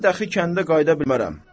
Mən dəxi kəndə qayıda bilmərəm.